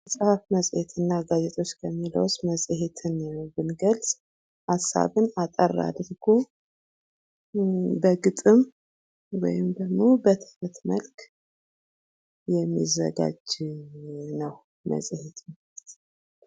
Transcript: መፅሐፍ መፅሄት እና ጋዜጦች የሚለው ዉስጥ መፅሄትን ብንገልፅ ሃሳብን አጠር አድርግ በግጥም ወይም ደግሞ በትምህርት መልክ የሚዘጋጅ ነው መፅሄት ማለት::